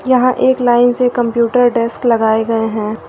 यहां एक लाइन से कंप्यूटर डेस्क लगाए गए हैं।